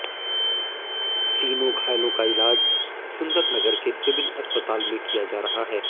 तीनों घायलों का इलाज सुंदरनगर के सिविल अस्पताल में किया जा रहा है